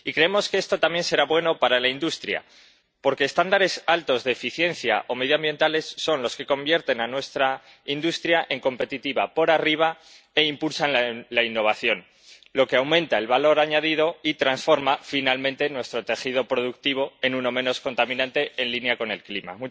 Y creemos que esto también será bueno para la industria, porque estándares altos de eficiencia o medioambientales son los que convierten a nuestra industria en competitiva por arriba e impulsan la innovación, lo que aumenta el valor añadido y transforma finalmente nuestro tejido productivo en uno menos contaminante, en línea con el clima.